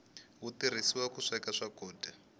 wu turhisiwa ku sweka swakudya